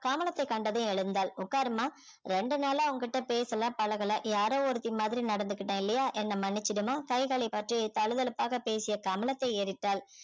கமலத்தை கண்டதும் எழுந்தாள் உட்காருமா ரெண்டு நாளா உன்கிட்ட பேசல பழகல யாரோ ஒருத்தி மாதிரி நடந்துகிட்டேன் இல்லையா என்னை மன்னிச்சிடுமா கைகளைப் பற்றி தழுதழுப்பாக பேசிய கமலத்தை ஏறிட்டாள்